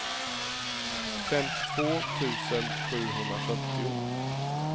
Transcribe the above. femtiotvå tusen sjuhundrafyrtio